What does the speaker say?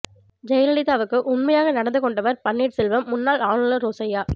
ஜெயலலிதாவுக்கு உண்மையாக நடந்து கொண்டவர் பன்னீர் செல்வம் முன்னாள் ஆளுநர் ரோசய்யா